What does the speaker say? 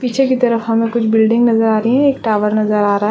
पीछे की तरफ हमें कुछ बिल्डिंग नजर आ रही है एक टावर नजर आ रहा है।